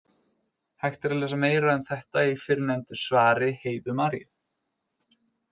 Hægt er að lesa meira um þetta í fyrrnefndu svari Heiðu Maríu.